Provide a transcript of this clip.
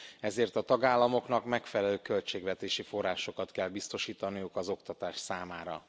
Ezért a tagállamoknak megfelelő költségvetési forrásokat kell biztosítaniuk az oktatás számára.